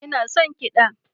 Ina son kiɗa